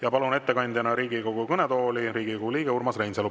Ja palun ettekandjana Riigikogu kõnetooli Riigikogu liikme Urmas Reinsalu.